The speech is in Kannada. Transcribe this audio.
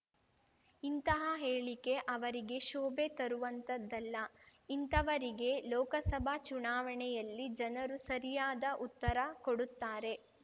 ಇಂತಹ ಹೇಳಿಕೆ ಅವರಿಗೆ ಶೋಭೆ ತರುವಂಥದ್ದಲ್ಲ ಇಂಥವರಿಗೆ ಲೋಕಸಭಾ ಚುನಾವಣೆಯಲ್ಲಿ ಜನರು ಸರಿಯಾದ ಉತ್ತರ ಕೊಡುತ್ತಾರೆ